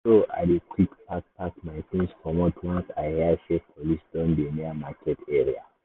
na so i dey quick pack pack my things commot once i hear say police don dey near market area.